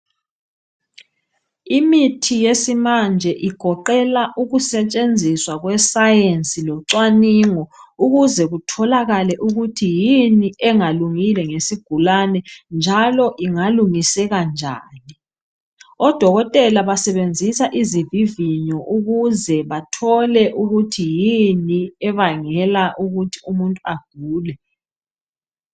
Imithi yesimanje igoqela ukusetshenziswa kwescience locwalingo ukuze kutholakale ukuthi yini engalungile nge ngesigulane njalo ingalungiseka njani. Odokotela basebenzisa izivivinyo ukuze bathole ukuthi yini ebangela ukuthi umuntu agule.